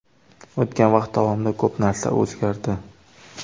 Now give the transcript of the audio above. O‘tgan vaqt davomida ko‘p narsa o‘zgardi.